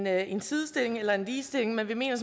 er en sidestilling eller en ligestilling men vi mener